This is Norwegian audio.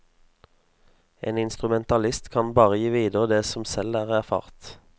En instrumentalist kan bare gi videre det som selv er erfart.